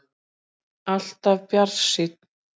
Alltaf bjartsýnn!